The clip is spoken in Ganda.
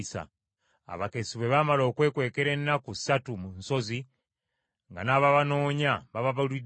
Abakessi bwe baamala okwekwekera ennaku ssatu mu nsozi nga n’ababanoonya bababuliddwa,